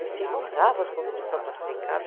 E ficam bravos quando não são classificados.